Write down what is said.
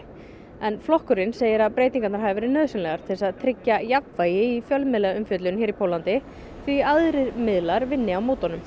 en flokkurinn segir að breytingarnar hafi verið nauðsynlegar til þess að tryggja jafnvægi í fjölmiðlaumfjöllun hér í Póllandi því aðrir miðlar vinni á móti honum